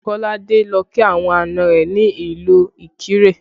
Kolade lọ kí àwọn àná rẹ ní ìlú Ikire